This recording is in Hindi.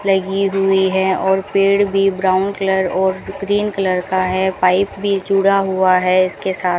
लगी हुई है और पेड़ भी ब्राउन कलर और ग्रीन कलर का है पाइप भी जुड़ा हुआ है इसके साथ।